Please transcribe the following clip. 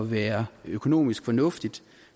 være økonomisk fornuftigt